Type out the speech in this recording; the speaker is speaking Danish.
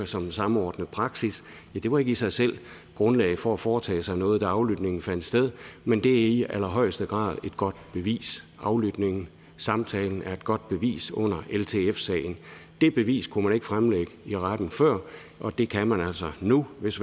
som en samordnet praksis det var ikke i sig selv grundlag for at foretage sig noget da aflytningen fandt sted men det er i allerhøjeste grad et godt bevis aflytningen samtalen er et godt bevis under ltf sagen det bevis kunne man ikke fremlægge i retten før og det kan man altså nu hvis